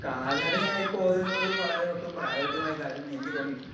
Speaker 2 കാൽനടയായി പോകുന്നത് വളരെ ഒട്ടും പ്രായോഗികമായ കാര്യമായി എനിക്ക് തോന്നിയിട്ടില്ല.